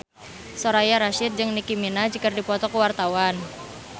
Soraya Rasyid jeung Nicky Minaj keur dipoto ku wartawan